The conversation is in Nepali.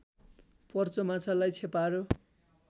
पर्च माछालाई छेपारो